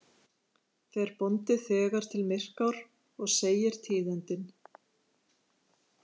Fer bóndi þegar til Myrkár og segir tíðindin.